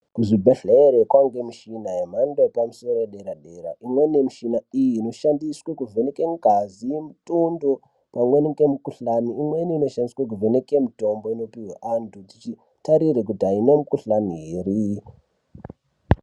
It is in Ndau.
Ku zvibhedhlere kwange mishina ye mhando yepa musoro ye dera dera imweni ye mishina iyi ino shandiswe ku vheneke ngazi ne mutundo pamweni nge mu kuhlani imweni ino shandiswe ku vheneke mutombo inopuwe antu tichi tarire kuti ayina mu kuhlani ere.